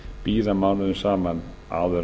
bíða mánuðum saman áður